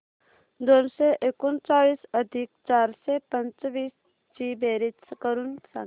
दोनशे एकोणचाळीस अधिक चारशे पंचवीस ची बेरीज करून सांगा